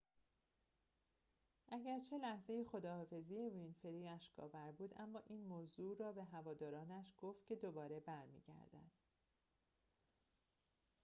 اگرچه لحظه خداحافظی وینفری اشک آور بود اما این موضوع را به هوادارانش گفت که دوباره برمی گردد